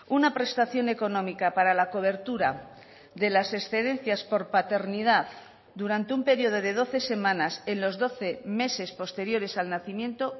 una prestación económica para la cobertura de las excedencias por paternidad durante un periodo de doce semanas en los doce meses posteriores al nacimiento